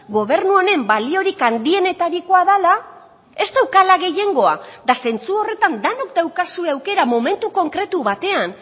gobernu honen baliorik handienetarikoa dela ez daukala gehiengoa eta zentsu horretan denok daukazue aukera momentu konkretu batean